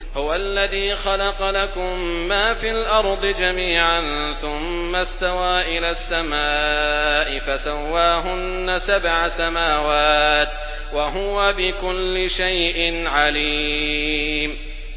هُوَ الَّذِي خَلَقَ لَكُم مَّا فِي الْأَرْضِ جَمِيعًا ثُمَّ اسْتَوَىٰ إِلَى السَّمَاءِ فَسَوَّاهُنَّ سَبْعَ سَمَاوَاتٍ ۚ وَهُوَ بِكُلِّ شَيْءٍ عَلِيمٌ